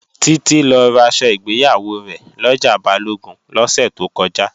Títí lọ raṣọ ìgbéyàwó rẹ̀ lọjà Balógun lọ́sẹ̀ tó kọjá